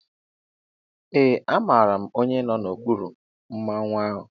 Ee amaara m onye nọ n'okpuru Mmanwu ahụ.